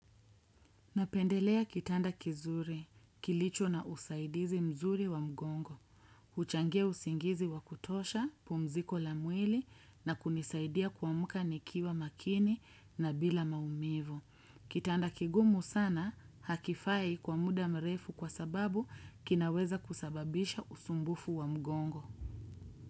Napendelea kitanda kizuri, kilicho na usaidizi mzuri wa mgongo. Huchangia usingizi wa kutosha, pumziko la mwili na kunisaidia kuamka nikiwa makini na bila maumivu. Kitanda kigumu sana hakifai kwa muda mrefu kwa sababu kinaweza kusababisha usumbufu wa mgongo.